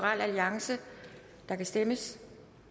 der kan stemmes